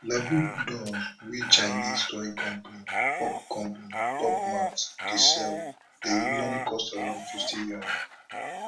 labubu dolls wey chinese toy company pop company pop mart dey sell dey usually cost around fifty yuan